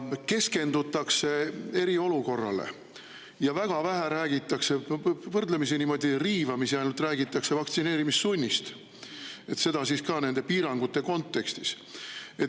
Keskendutakse eriolukorrale ja väga vähe või ainult võrdlemisi riivamisi räägitakse vaktsineerimissunnist, seda ka piirangute kontekstis.